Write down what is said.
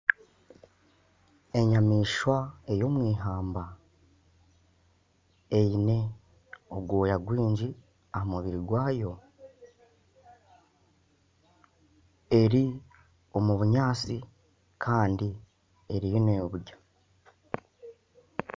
Enyamaishwa eyomw'ihamba eine obwoya bwingi ahamubiri gwayo eri omubunyatsi kandi eriyo n'eburya